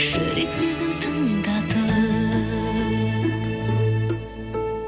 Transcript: жүрек сөзін тыңдатып